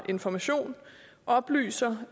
information oplyser